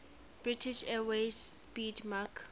british airways 'speedmarque